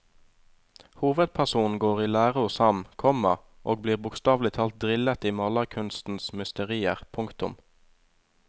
Hovedpersonen går i lære hos ham, komma og blir bokstavelig talt drillet i malerkunstens mysterier. punktum